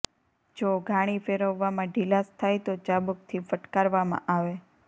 જો ઘાણી ફેરવવામાં ઢીલાશ થાય તો ચાબુકથી ફટકારવામાં આવે